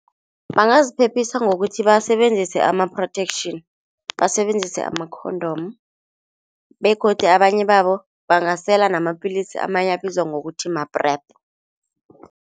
Bangaziphephisa ngokuthi basebenzise ama-protection, basebenzise ama-condom begodu abanye babo bangasela namapilisi amanye abizwa ngokuthi ma-PrEP.